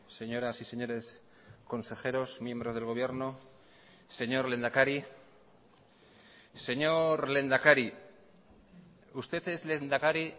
señoras y señores consejeros miembros del gobierno señor lehendakari señor lehendakari usted es lehendakari